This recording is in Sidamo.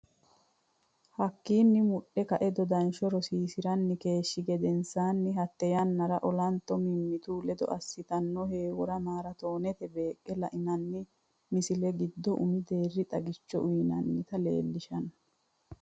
Hakkiinni mudhe kae dodansho rosiisi’ranni keeshshi gedensaanni hatta yannara olanto mimmitu ledo assitanno heewora maaraatoonete beeq, La’inanni misilla giddo umi deerri xagicho uyinannita leellishanno?